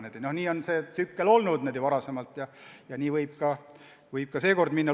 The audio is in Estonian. Niisugune on see tsükkel varem olnud ja nii võib ka seekord minna.